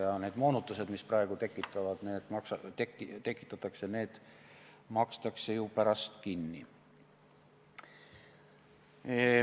Ja need moonutused, mis praegu tekitatakse, makstakse ju pärast kinni.